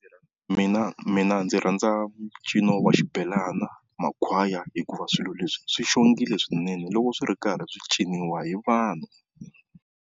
Mina, mina ndzi rhandza ncino wa xibelana, makhwaya hikuva swilo leswi swi xongile swinene loko swi ri karhi swi ciniwa hi vanhu.